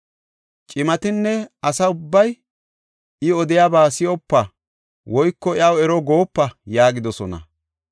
Cimatinne asa ubbay, “I odiyaba si7opa! Woyko iyaw ero goopa” yaagidosona.